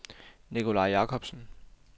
Nicolai Jakobsen